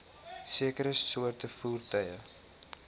sekere soorte voertuie